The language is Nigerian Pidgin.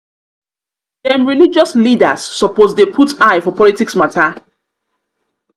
dem religious leaders suppose dey put eye for politics mata.